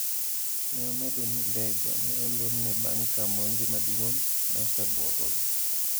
"Ne omedo ni lee go ne olorne bang' ka monj maduong'no osebuogogi".